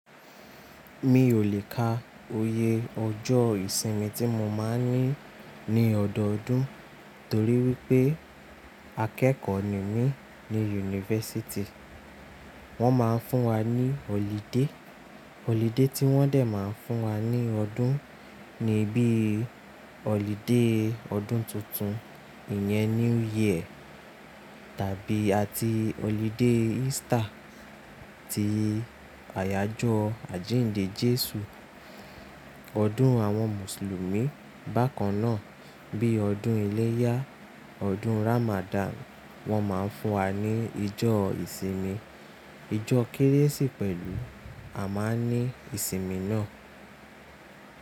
Mi ò lè ka oyè ọjọ́ ìsinmi tí mo máa ń ní ní ọdọọdún torí wípé akẹ́kọ̀ọ́ ni mí ní yunifásítì. Wọ́n máa ń fún wa ní ọlidé, ọlidé tí wọ́n dẹ máa ń fún wa ní ọdún ni bíi ọlidé ọdún tuntun, ìyẹn New Year tàbí àti ọlidé Easter ti àyájọ́ àjíǹde Jésù. Ọdún àwọn Mùsùlùmí bákan náà bíi ọdún ẹlẹ́yá, ọdún Ramadan. Wọn máa ń fún wa ní ijọ ìsinmi, ijọ Kérésì pẹ̀lú a máa ní ìsinmi náà.